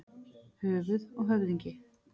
Höfuð og höfðingi.